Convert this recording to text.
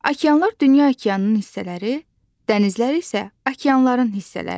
Okeanlar dünya okeanının hissələri, dənizlər isə okeanların hissələridir.